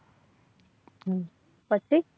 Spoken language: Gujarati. હમ પછી